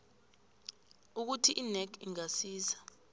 ukuthi inac ingasiza